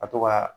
Ka to ka